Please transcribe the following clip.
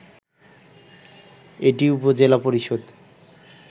এটি উপজেলা পরিষদ